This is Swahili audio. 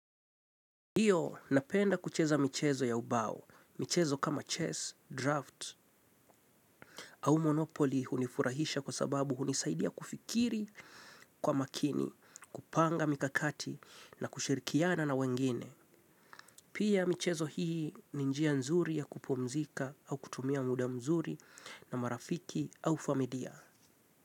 Ndiyo napenda kucheza michezo ya ubao. Michezo kama chess, draft au monopoly hunifurahisha kwa sababu hunisaidia kufikiri kwa makini, kupanga mikakati na kushirikiana na wengine. Pia michezo hii ni njia nzuri ya kupumzika au kutumia muda mzuri na marafiki au familia.